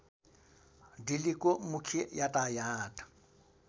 दिल्लीको मुख्य यातायात